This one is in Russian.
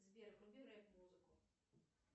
сбер вруби реп музыку